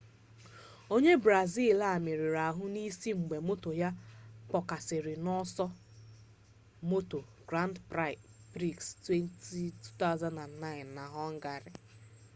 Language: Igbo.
onye brazil a merụrụ ahụ n'isi mgbe moto ya kpọkasịrị n'ọsọ moto grand prix 2009 na họngarị